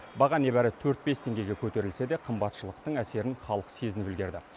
баға небәрі төрт бес теңгеге көтерілсе де қымбатшылықтың әсерін халық сезініп үлгерді